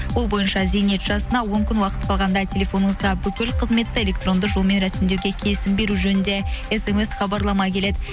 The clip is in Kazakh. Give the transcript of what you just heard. ол бойынша зейнет жасына он күн уақыт қалғанда телефоныңызға бүкіл қызметті электронды жолмен рәсімдеуге келісім беру жөнінде смс хабарлама келеді